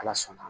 Ala sɔnna